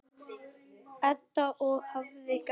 Edda: Og hvað gerist þá?